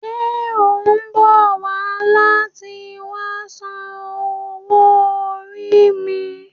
Ṣe o mbọ wa lati wa san owó orí mi?